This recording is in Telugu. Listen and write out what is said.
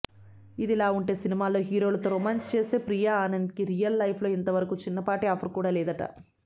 ఇదిలావుంటే సినిమాల్లో హీరోలతో రొమాన్స్ చేసే ప్రియా ఆనంద్కి రియల్ లైఫ్లో ఇంతవరకు చిన్నపాటి అఫైర్ కూడా లేదట